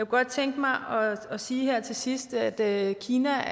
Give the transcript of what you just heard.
godt tænke mig at sige her til sidst at kina